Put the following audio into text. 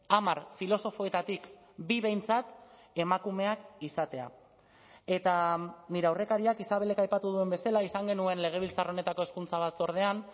hamar filosofoetatik bi behintzat emakumeak izatea eta nire aurrekariak isabelek aipatu duen bezala izan genuen legebiltzar honetako hezkuntza batzordean